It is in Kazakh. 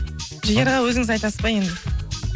жігер аға өзіңіз айтасыз ба енді